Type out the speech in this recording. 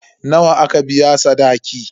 Nawa aka biya sadaki?